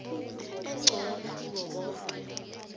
engcono kibo boke